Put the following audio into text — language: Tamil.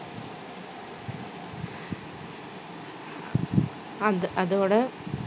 அது அதோட